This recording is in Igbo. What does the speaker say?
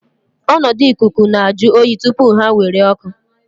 Ọnọdụ ikuku nọ na-ajụ oyi tupu ha nwere oku.